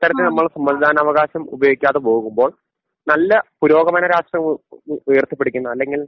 ഇത്തരത്തിൽ നമ്മൾ സമ്മതിദാനാവകാശം ഉപയോഗിക്കാതെ പോകുമ്പോൾ നല്ല പുരോഗമന രാഷ്ട്രീയം ഉ ഉയ ഉയർത്തിപ്പിടിക്കുന്ന അല്ലെങ്കിൽ